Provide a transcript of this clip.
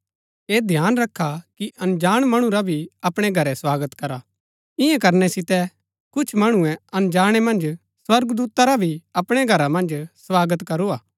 ऐह ध्यान रखा कि अनजाण मणु रा भी अपणै घरै स्वागत करा इन्या करनै सितै कुछ मणुऐ अनजाणै मन्ज स्वर्गदूता रा भी अपणै घरा मन्ज स्वागत करू हा